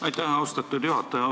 Aitäh, austatud juhataja!